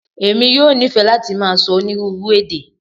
Emi yoo nifẹ lati màá sọ onírúurú èdè.